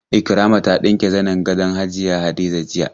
Ikirama ta ɗinke zanin gadon hajiya Hadiza jiya.